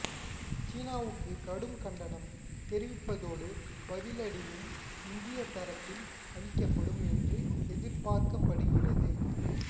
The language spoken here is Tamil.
சீனாவுக்கு கடும் கண்டனம் தெரிவிப்பதோடு பதிலடியும் இந்திய தரப்பில் அளிக்கப்படும் என்று எதிர்பார்க்கப்படுகிறது